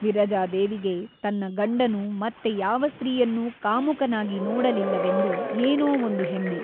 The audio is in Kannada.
ವಿರಜಾದೇವಿಗೆ ತನ್ನ ಗಂಡನು ಮತ್ತೆ ಯಾವ ಸ್ತ್ರೀಯನ್ನೂ ಕಾಮುಕನಾಗಿ ನೋಡಲಿಲ್ಲವೆಂದು ಏನೋ ಒಂದು ಹೆಮ್ಮೆ.